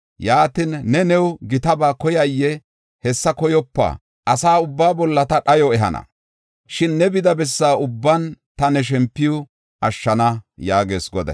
Yaatin, ne new gitaba koyayee? Hessa koyopa. Asa ubbaa bolla ta dhayo ehana. Shin ne bida bessa ubban ta ne shempuwa ashshana” yaagees Goday.